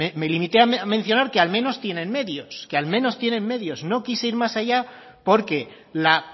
me limité a mencionar que al menos tienen medios que al menos tienen medios no quise ir más allá porque la